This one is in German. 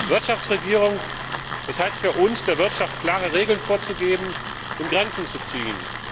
Wirtschaftsregierung, das heißt für uns, der Wirtschaft klare Regeln vorzugeben und Grenzen zu ziehen.